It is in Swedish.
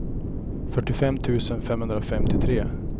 fyrtiofem tusen femhundrafemtiotre